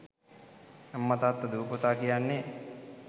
අම්ම තාත්ත දුව පුතා කියන්නේ